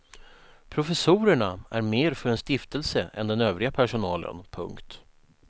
Professorerna är mer för en stiftelse än den övriga personalen. punkt